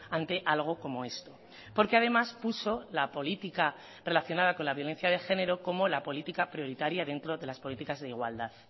ante algo como esto porque además puso la política relacionada con la violencia de género como la política prioritaria dentro de las políticas de igualdad